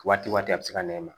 Waati waati a bɛ se ka nɛma